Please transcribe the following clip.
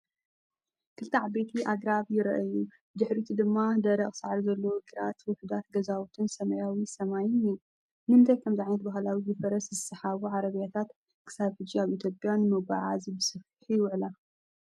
ክልተ ዓበይቲ ኣግራብ ይረአዩ፣ ብድሕሪት ድማ ደረቕ ሳዕሪ ዘለዎ ግራትን ውሑዳት ገዛውትን ሰማያዊ ሰማይን እኒሀ። ንምንታይ ከምዚ ዓይነት ባህላዊ ብፈረስ ዝስሓባ ዓረብያታት ክሳብ ሕጂ ኣብ ኢትዮጵያ ንመጓዓዝያ ብሰፊሑ ይውዕላ?